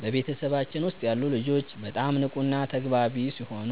በቤተሰባችን ውስጥ ያሉ ልጆች በጣም ንቁና ተግባቢ ሲሆኑ፣